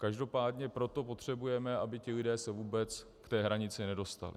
Každopádně proto potřebujeme, aby ti lidé se vůbec k té hranici nedostali.